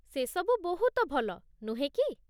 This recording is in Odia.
ସେସବୁ ବହୁତ ଭଲ, ନୁହେଁ କି?